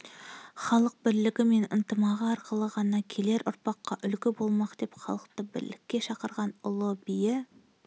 халық бірлігі мен ынтымағы арқылы ғана келер ұрпаққа үлгі болмақ деп халықты бірлікке шақырған ұлы биі